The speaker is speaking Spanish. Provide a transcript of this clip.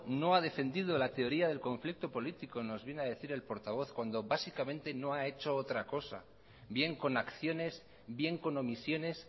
no ha defendido la teoría del conflicto político nos viene a decir el portavoz cuando básicamente no ha hecho otra cosa bien con acciones bien con omisiones